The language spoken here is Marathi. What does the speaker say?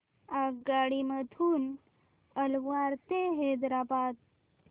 आगगाडी मधून अलवार ते हैदराबाद